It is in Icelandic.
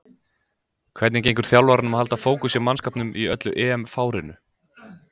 Hvernig gengur þjálfaranum að halda fókus hjá mannskapnum í öllu EM-fárinu?